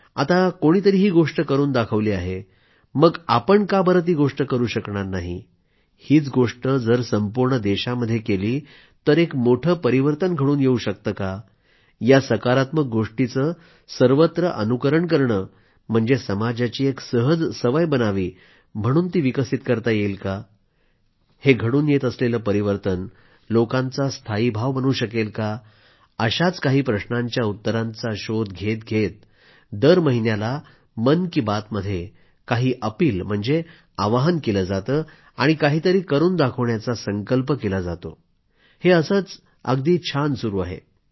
आता कोणी तरी ही गोष्ट करून दाखवली आहे मग आपण का बरं ती गोष्ट करू शकणार नाही हीच गोष्ट जर संपूर्ण देशामध्ये केली तर एक मोठे परिवर्तन घडून येवू शकते का या सकारात्मक गोष्टीचे सर्वत्र अनुकरण करणे म्हणजे समाजाची एक सहज सवय बनावी म्हणून ती विकसित करता येईल का हे घडून येत असलेले परिवर्तन लोकांचा स्थायीभाव बनू शकेल का अशाच काही प्रश्नांच्या उत्तरांचा शोध घेत घेत दर महिन्याला मन की बात मध्ये काही अपिल म्हणजेच आवाहन केले जाते आणि काहीतरी करून दाखवण्याचा संकल्प केला जातोहे असंच छान सुरू आहे